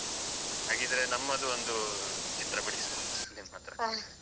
ಹಾಗಿದ್ರೆ ನಮ್ಮದು ಒಂದು ಚಿತ್ರ ಬಿಡಿಸುವ ನಿಮ್ಮ ಹತ್ರ.